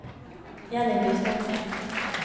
Jenny Gustavsen